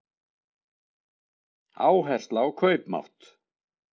Áhersla á kaupmátt